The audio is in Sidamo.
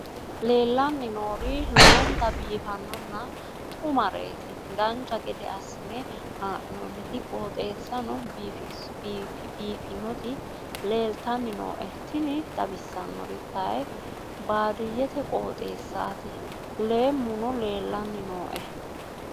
leellanni nooeri lowonta biiffinonna xumareeti dancha gede assine haa'noonniti qooxeessano biiffinoti leeltanni nooe tini xawissannori kayi baadiyyete qooxeessaati leemmuno leellanni nooe